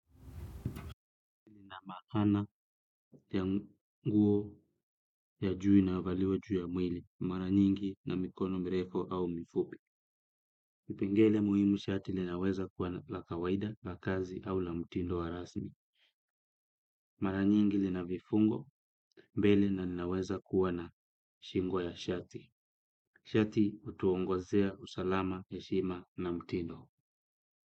Na maana ya nguo ya juu inayovaliwa juu ya mwili mara nyingi na mikono mirefu au mifupi pengele muhimu shati linaweza kuwa na pla kawaida la kazi au la mtindo wa rasmi mara nyingi lina vifungo mbele na linaweza kuwa na shingo ya shati shati utuongozea usalama heshima na mtindo.